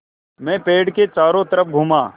मैं पेड़ के चारों तरफ़ घूमा